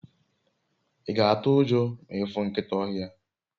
i ga atu ujo ma ifu nkita ohia?